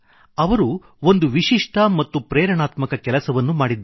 ಅವರು ಒಂದು ವಿಶಿಷ್ಟ ಮತ್ತು ಪ್ರೇರಣಾತ್ಮಕ ಕೆಲಸವನ್ನು ಮಾಡಿದ್ದಾರೆ